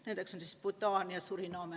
Need on näiteks Bhutan ja Suriname.